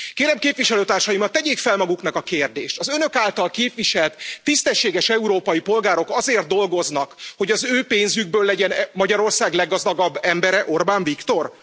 Kérem képviselőtársaimat, tegyék fel maguknak a kérdést Az Önök által képviselt tisztességes európai polgárok azért dolgoznak, hogy az ő pénzükből legyen Magyarország leggazdagabb embere Orbán Viktor?